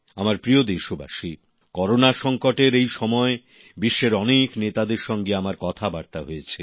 আমার প্রিয় দেশবাসী করোনা সংকটের এই সময় বিশ্বের অনেক নেতাদের সঙ্গে আমার কথাবার্তা হয়েছে